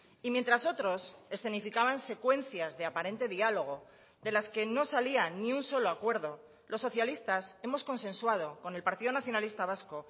y mientras otros escenificaban secuencias de aparente diálogo de las que no salían ni un solo acuerdo los socialistas hemos consensuado con el partido nacionalista vasco